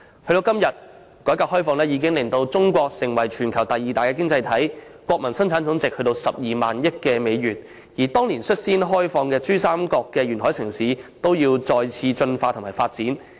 時至今天，改革開放已令中國成為全球第二大經濟體，國民生產總值達12萬億美元，而當年率先開放的珠三角沿海城市，也要再次進化和發展。